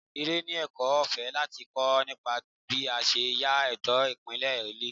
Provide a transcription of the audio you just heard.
Ire ni ẹ̀kọ́ ọ̀fẹ́ láti kọ́ nípa bí a ti ń ya ètò ìpìlẹ̀ ilé.